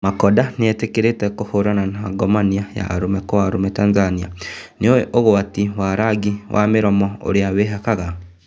Makonda nĩetĩkĩrĩte kũharana na ngomania ya arũme Kwa arũme Tanzania, nĩũĩ ũgwati wa rangi ya mĩromo ũrĩa wĩhakaga?